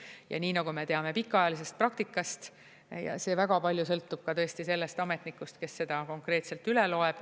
Ja nii nagu me teame pikaajalisest praktikast, see väga palju sõltub ka sellest ametnikust, kes seda konkreetselt üle loeb.